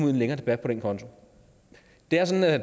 i en længere debat på den konto det er sådan at